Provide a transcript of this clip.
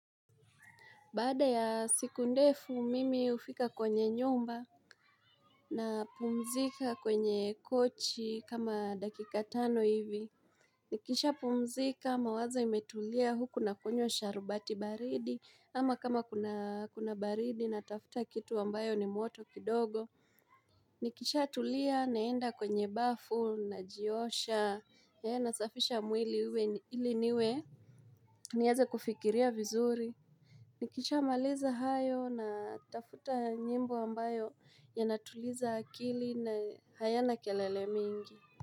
Baada ya siku ndefu mimi hufika kwenye nyumba napumzika kwenye kochi kama dakika tano hivi. Nikisha pumzika mawazo imetulia huku nakunywa sharubati baridi ama kama kuna baridi natafuta kitu ambayo ni moto kidogo. Nikisha tulia naenda kwenye bafu najiosha nasafisha mwili ili niwe nieze kufikiria vizuri. Nikisha maliza hayo, natafuta nyimbo ambayo yanatuliza akili na hayana kelele mingi.